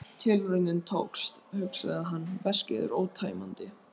Tilraunin tókst, hugsaði hann, veskið er ótæmandi.